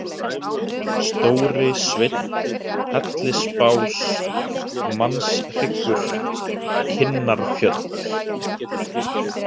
Stórisveinn, Hellisbás, Mannshryggur, Kinnarfjöll